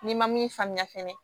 N'i ma min faamuya fɛnɛ